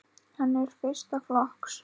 Hann er fyrsta flokks.